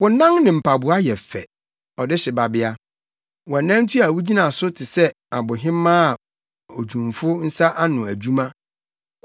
Wo nan ne mpaboa yɛ fɛ, Ɔdehye babea! Wʼanantu a wugyina so te sɛ abohemaa, odwumfo nsa ano adwuma.